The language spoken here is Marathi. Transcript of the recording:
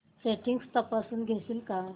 सेटिंग्स तपासून घेशील का